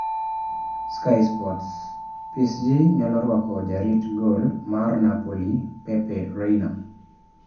(Sky Sports) PSG nyalo rwako jarit gol mar Napoli Pepe Reina.